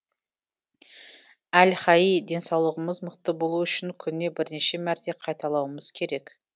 әл хаий денсаулығымыз мықты болуы үшін күніне бірнеше мәрте қайталауымыз керек